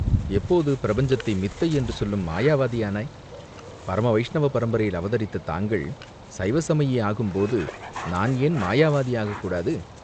எப்போது பிரபஞ்சத்தை மித்தை என்று சொல்லும் மாயாவாதியானாய்?" பரம வைஷ்ணவ பரம்பரையில் அவதரித்த தாங்கள் சைவ சமயி ஆகும்போது நான் என் மாயவாதி ஆகக் கூடாது?